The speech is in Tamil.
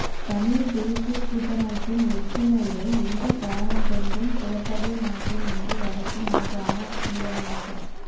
தமிழ்த் தேசியக் கூட்டமைப்பின் ஒற்றுமையை எந்தக் காரணங்கொண்டும் குழப்பவே மாட்டேன் என்று வடக்கு மாகாண முதலமைச்சர்